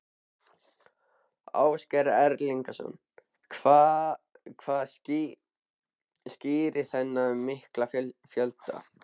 Ásgeir Erlendsson: Hvað skýrir þennan mikla fjölda?